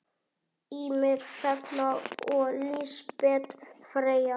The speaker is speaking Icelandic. Ýmir, Hrefna og Lísbet Freyja.